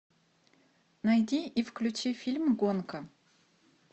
найди и включи фильм гонка